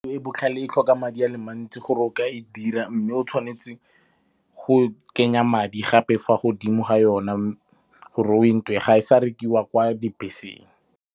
E botlhale e tlhoka madi a le mantsi gore o ka e dira mme o tshwanetse go kenya madi gape fa godimo ga yona gore o e nke, ga e sa rekiwa kwa dibeseng.